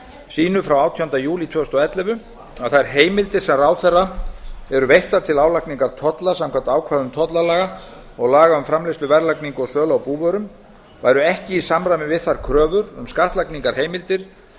sínu frá átjándu júlí tvö þúsund og ellefu að þær heimildir sem ráðherra eru veittar til álagningar tolla samkvæmt ákvæðum tollalaga og laga um framleiðslu verðlagningu og sölu á búvörum væru ekki í samræmi við þær kröfur um skattlagningarheimildir